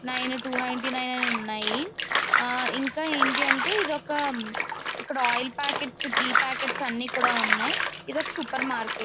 Ninety nine టవనినిటీనినే అన్ని ఉన్నాయ్. ఆ ఇంకా ఏంటి అంటే ఇది ఒక్క ఆయిల్ ప్యాకెట్ ఘీ ప్యాకెట్స్ అన్ని కూడా ఉన్నాయ్. ఇదీ ఒక్క సూపర్ మార్కెట్ .